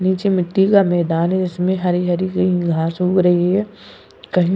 नीचे मिट्टी का मैदान है इसमें हरी-हरी घास उग रही है कहीं --